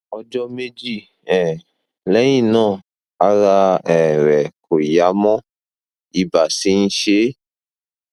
ọjọ méjì um lẹyìn náà ara um rẹ kò yá mọ ibà sì ń ṣe é um